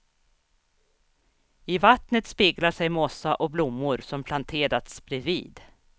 I vattnet speglar sig mossa och blommor som planterats bredvid.